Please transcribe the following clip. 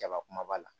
Jaba kumaba la